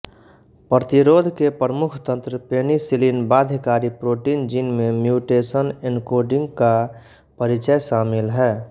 प्रतिरोध के प्रमुख तंत्र पेनिसिलिन बाध्यकारी प्रोटीन जीन में म्यूटेशन एन्कोडिंग का परिचय शामिल है